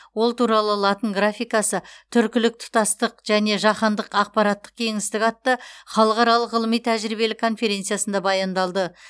ол туралы латын графикасы түркілік тұтастық және жаһандық ақпараттық кеңістік атты халықаралық ғылыми тәжірибелік конференциясында баяндалды